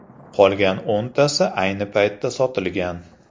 Qolgan o‘ntasi ayni paytda sotilgan.